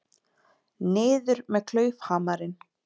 Niður með klaufhamarinn!